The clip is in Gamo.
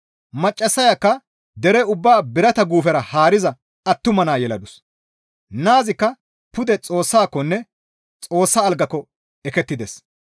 Maccassayakka dere ubbaa birata guufera haariza attuma naa yeladus; naazikka pude Xoossakonne Xoossa algaakko ekettides.